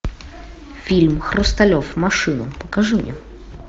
фильм хрусталев машину покажи мне